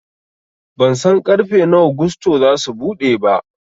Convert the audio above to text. Bansan ƙarfe nawa gusto zasu buɗe ba